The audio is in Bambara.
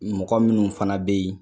Mɔgɔ minnu fana bɛ yen